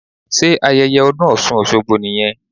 Sé ayẹyẹ ọdún osun osogbo nìyẹn?